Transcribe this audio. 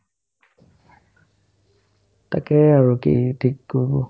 তাকেই আৰু কি থিক কৰো ?